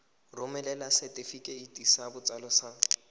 romela setefikeiti sa botsalo sa